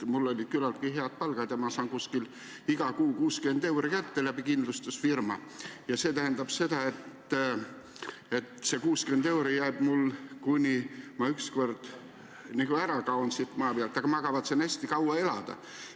Mul oli küllaltki hea palk ja ma saan iga kuu läbi kindlustusfirma kätte umbes 60 eurot ja see jääb nii seniks, kuni ma ükskord siit maa pealt ära kaon – aga ma kavatsen hästi kaua elada.